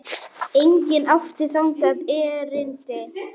Enginn átti þangað erindi.